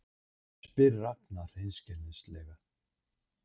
spyr Ragna hreinskilnislega.